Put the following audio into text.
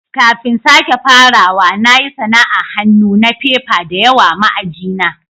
Kafin sake farawa, na yi sana'an hannu na fefa da yawa ma aji na.